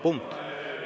Punkt.